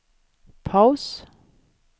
paus